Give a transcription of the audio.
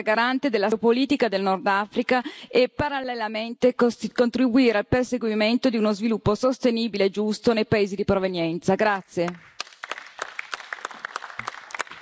Secondo, l'Unione europea si deve ergere garante della stabilità geopolitica del Nordafrica e parallelamente contribuire al perseguimento di uno sviluppo sostenibile e giusto nei paesi di provenienza.